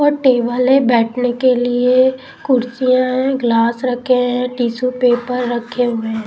और टेबल है बैठने के लिए कुर्सियां हैं ग्लास रखे हैं टिशू पेपर रखे हुए हैं.